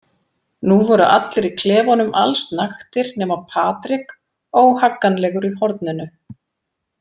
Nú voru allir í klefanum allsnaktir nema Patrik óhagganlegur í horninu.